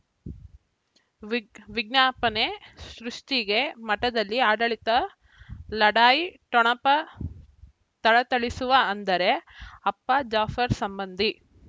ವಿಜ್ ವಿಜ್ಞಾಪನೆ ಸೃಷ್ಟಿಗೆ ಮಠದಲ್ಲಿ ಆಡಳಿತ ಲಢಾಯಿ ಠೊಣಪ ಥಳಥಳಿಸುವ ಅಂದರೆ ಅಪ್ಪ ಜಾಫರ್ ಸಂಬಂಧಿ